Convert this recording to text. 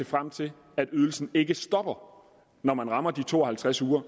frem til at ydelsen ikke stopper når man rammer de to og halvtreds uger